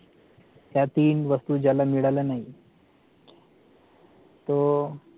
त्या तीन वस्तू ज्याला मिळाला नाही तो